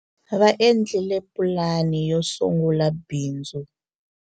va endlile pulani yo sungula bindz